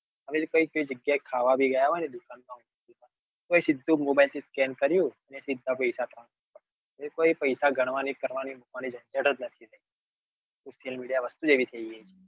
કઈ કઈ જગ્યા ખાવા બી ગયા હોય તો mobilescan કર્યું સીધા પૈસા કટ તો કોઈ પૈસા ગણવા ના કે કરવા ની જન્જ્ત નહિ social media વસ્તુ એવી છે.